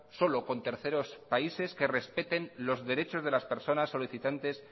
solo con terceros países que respeten los derechos de las personas solicitantes